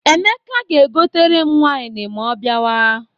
Emeka ga-egotere m waịn ma ọ bịawa.